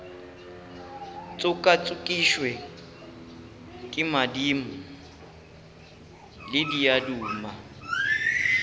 tšokatšokišwe ke madimo le diaduma